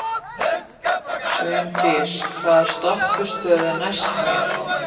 Sveindís, hvaða stoppistöð er næst mér?